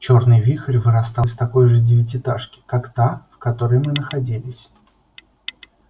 чёрный вихрь вырастал из такой же девятиэтажки как та в которой мы находились